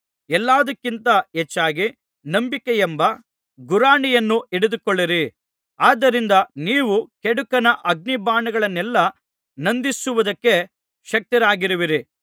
ಎಲ್ಲಾದಕ್ಕಿಂತ ಹೆಚ್ಚಾಗಿ ನಂಬಿಕೆಯೆಂಬ ಗುರಾಣಿಯನ್ನು ಹಿಡಿದುಕೊಳ್ಳಿರಿ ಅದರಿಂದ ನೀವು ಕೆಡುಕನ ಅಗ್ನಿಬಾಣಗಳನ್ನೆಲ್ಲಾ ನಂದಿಸುವುದಕ್ಕೆ ಶಕ್ತರಾಗುವಿರಿ